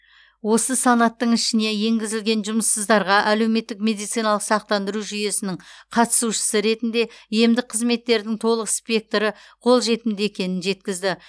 осы санаттың ішіне енгізілген жұмыссыздарға әлеуметтік медициналық сақтандыру жүйесінің қатысушысы ретінде емдік қызметтердің толық спектрі қолжетімді екенін жеткізді